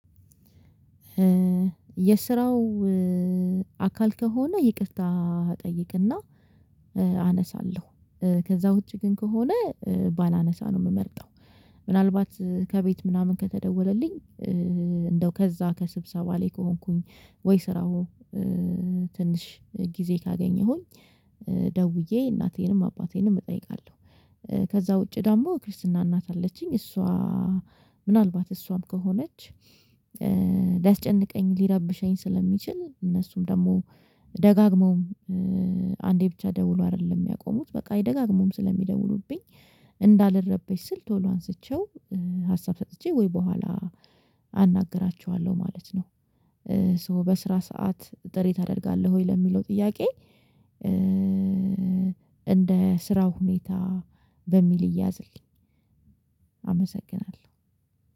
የስራው አካል ከሆነ ይቅርታ እጠይቅና አነሳለሁ ከዛ ውጪ ግን ከሆነ ባላነሳ ነው የምመርጠው። ምናልባት ከቤት ምናምን ከተደወለልኝ እንደው ከዛ ከስብሰባ ላይ ከሆንኩኝ ወይ ስራው ትንሽ ጊዜ ካገኘሁኝ ደውዬ እናቴንም አባቴንም እጠይቃለሁ። ከዛ ውጪ ደግሞ ክርስትና እናት አለችኝ እሷ ምናልባት እሷም ከሆነች ሊያስጨንቀኝ ሊረብሸኝ ስለሚችል እነሱም ደግሞ ደጋግመውም አንዴ ብቻ ደውሎ አይደለም የሚያቆሙት በቃ ደጋግመው ስለሚደውሉብኝ እንዳልረበች ስል ቶሎ አንስቼው ሀሳብ ሰጥቼ ወይ በኋላ አናግራችኋለሁ ማለት ነው ሶ በስራ ሰዓት ጥሪ ታደርጋለህ ወይ ለሚለው ጥያቄ እንደ ስራው ሁኔታ በሚል ይያዝልኝ አመሰግናለሁ